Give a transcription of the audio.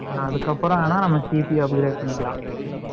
நான் அதுக்கப்புறம் வேணா, CP upgrade பண்ணிக்கலா